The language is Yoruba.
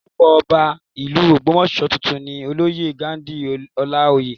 Orúkọ Ọba ìlú Ogbomoso tuntun ni olóyè Ghandi Olaoye